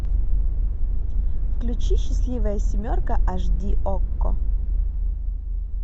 включи счастливая семерка аш ди окко